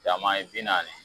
Cama ye bi naani ye